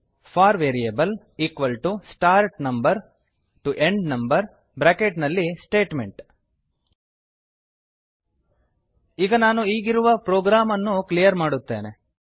four variable start number T O end number bracket ನಲ್ಲಿ Statement ಈಗ ನಾನು ಈಗಿರುವ ಪ್ರೋಗ್ರಾಮ್ ಅನ್ನು ಕ್ಲಿಯರ್ ಮಾಡುತ್ತೇನೆ